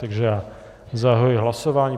Takže já zahajuji hlasování.